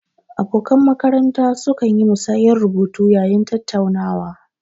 Abokan makaranta su kan yi musayar rubutu yayin tattaunawa